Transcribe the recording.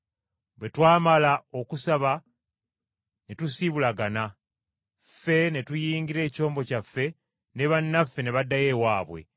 Bwe twamala okusaba ne tusiibulagana. Ffe ne tuyingira ekyombo kyaffe, ne bannaffe ne baddayo ewaabwe.